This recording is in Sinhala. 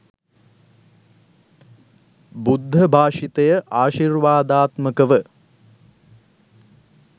බුද්ධභාෂිතය ආශිර්වාදාත්මකව